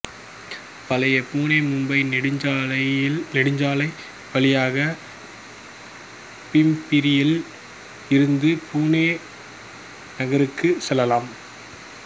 பழைய புனேமும்பை நெடுஞ்சாலை வழியாக பிம்பிரியில் இருந்து புனே நகருக்கு செல்லலாம்